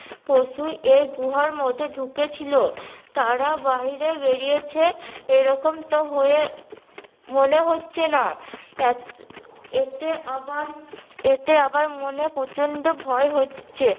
পশু এই গুহার মধ্যে ঢুকেছিলো তারা বাহিরে বেরিয়েছে এরকম তো হয়ে মনে হচ্ছে না এত এতে আবার এতে আবার মনে প্রচন্ড ভয় হচ্ছে